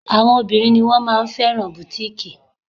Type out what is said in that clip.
Àwọn obìnrin ni wón máa ma fẹ́ràn bùtíkìì.